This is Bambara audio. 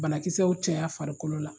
Banakisɛw caya farikolo la